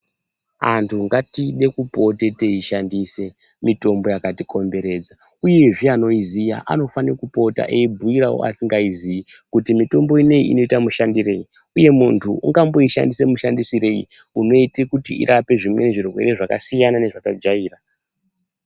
Antu ngatipote tichide kushandisa mishonga yakati komberedza, uyezve anoiziya anofane kupote aibhuiravo asingaiziyi kuti mitombo unouyu unoita mushandirei, uye muntu ungamboite mushandisirei unoita kuti urape zvimweni zvirwere zvakasiyana nezvatajaira.